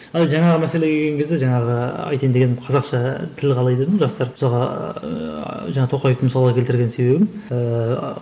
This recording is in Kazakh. ал жаңағы мәселеге келген кезде жаңағы айтайын дегенім қазақша тіл қалай дедім жастар жаңағы тоқаевты мысалға келтірген себебім ііі